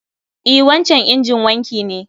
E, wancan injin wanki ne